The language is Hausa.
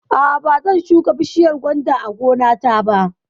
A'a, ba zan shuka bishiyar gwanda a gona ta ba